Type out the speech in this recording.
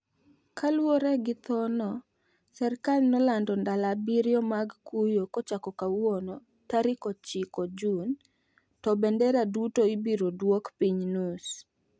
kaluwore gi tho no, serikal nolando ndalo abirio mag kuyo kochako kayuono tarik 9 June. To bendera duto ibira dwok piny nus